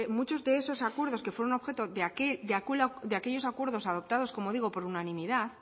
muchos de esos acuerdos que fueron objeto de aquellos acuerdos adoptados por unanimidad